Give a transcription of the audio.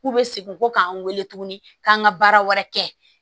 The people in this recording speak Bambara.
K'u bɛ segin ko k'an wele tuguni k'an ka baara wɛrɛ kɛ